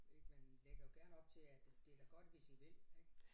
Ik man lægger jo gerne op til at øh det da godt hvis I vil ik